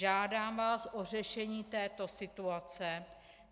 Žádám vás o řešení této situace.